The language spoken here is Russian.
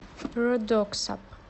родоксап